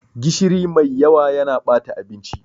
Gishiri mai yawa yana bata abinci.